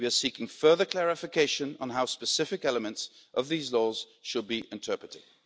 We are seeking further clarification on how specific elements of these laws should be interpreted.